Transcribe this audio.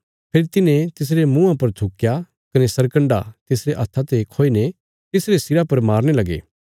फेरी तिन्हे तिसरे मूँहा पर थुक्कया कने सरकन्डा तिसरे हत्था ते खोईने तिसरे सिरा पर मारने लगे